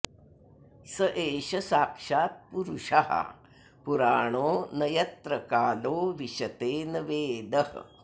स एष साक्षात्पुरुषः पुराणो न यत्र कालो विशते न वेदः